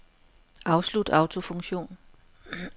Afslut autofunktion.